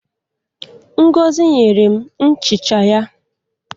Ngozi nyere m nchicha ya.